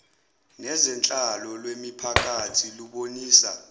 nezenhlalo lwemiphakathi lubonisa